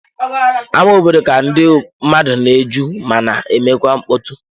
Ámá obodo ka ndị mmadụ na-eju ma na-emekwa mkpọtụ.